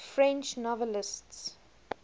french novelists